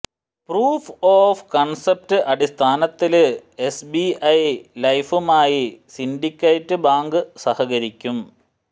proof of concept അടിസ്ഥാനത്തില് S B I ലൈഫുമായി Syndicate Bank സഹകരിക്കും